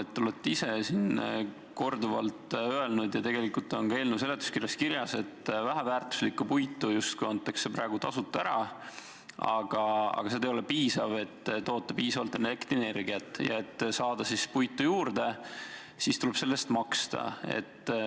Te olete ise siin korduvalt öelnud ja tegelikult on ka eelnõu seletuskirjas kirjas, et väheväärtuslikku puitu justkui antakse praegu tasuta ära, aga see ei ole piisav, et toota piisavalt elektrienergiat, ja et saada puitu juurde, tuleb selle eest maksta.